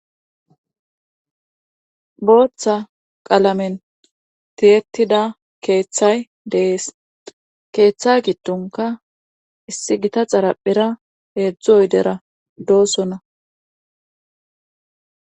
Booththa qalamen tiyetida keeththay dees keeththay gittonka issi gita xaraphira heedzdzu oydera doosonna.